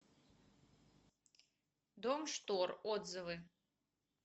дом штор отзывы